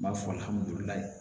N b'a fɔ